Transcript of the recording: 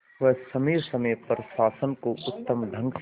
वह समय समय पर शासन को उत्तम ढंग से